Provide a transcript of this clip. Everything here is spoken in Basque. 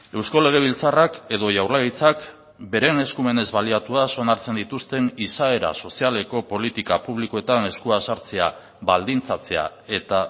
eusko legebiltzarrak edo jaurlaritzak beren eskumenez baliatuaz onartzen dituzten izaera sozialeko politika publikoetan eskua sartzea baldintzatzea eta